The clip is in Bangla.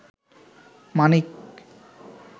মানিক